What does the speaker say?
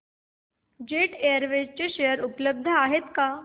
jet Airways share उपलब्ध आहेत का